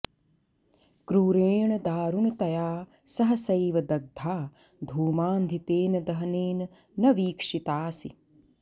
क्रूरेण दारुणतया सहसैव दग्धा धूमान्धितेन दहनेन न वीक्षितासि